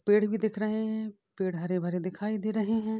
पेड़ भी दिख रहे हैं। पेड़ हरे भरे दिखाई दे रहे हैं।